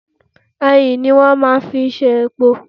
Ẹyìn ní wọ́n máa fi ń ṣe epo.